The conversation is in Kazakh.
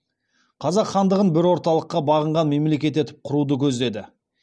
қазақ хандығын бір орталыққа бағынған мемлекет етіп құруды көздеді